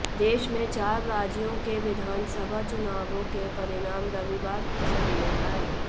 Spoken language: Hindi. देश में चार राज्यों के विधानसभा चुनावों के परिणाम रविवार को सामने आए